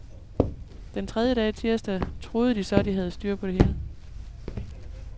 Den tredje dag, tirsdag, troede de så, de havde styr på det hele.